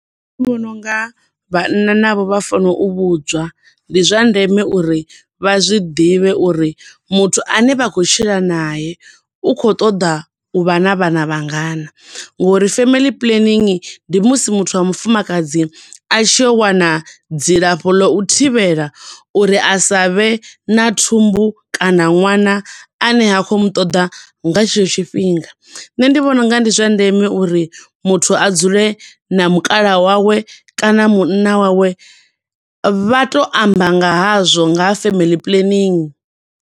Vhona unga vhanna navho vha fano u vhudzwa, ndi zwa ndeme uri vha zwiḓivhe uri muthu ane vha khou tshila nae u kho ṱoḓa u vha na vhana vha ngana ngo uri family planning ndi musi muthu wa mufumakadzi a tshiya u wana dzi lafho ḽo u thivhela uri asa vhe na thumbu kana ṅwana ane ha khou mu ṱoḓa nga tshetsho thifhinga. Nṋe ndi vhona unga ndi zwa ndeme uri muthu a dzule na mukala wawe, kana munna wawe vha to amba nga hazwo, nga ha family planning.